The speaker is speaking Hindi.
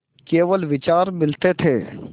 केवल विचार मिलते थे